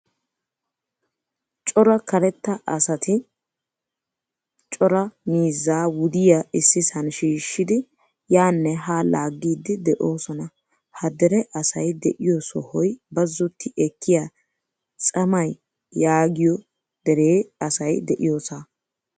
Cora karetta asati cora miizzaa wudiyaa issisan shiishidi yaane ha laagidi de'osona. Ha dere asay de'iyo sohoy bazzoti ekkiyaa tsemay yaagiyo dee asay de'iyosa.